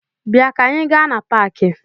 Bịa ka anị gaa na paakị!